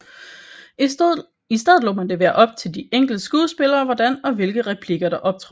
I stedet lod man det være op til de enkelte skuespillere hvordan og hvilke replikker der optrådte